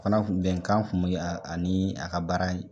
O fana bɛnkan tun bɛn b'u ani a ka baara